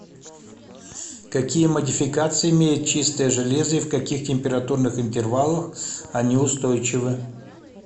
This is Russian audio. какие модификации имеет чистое железо и в каких температурных интервалах они устойчивы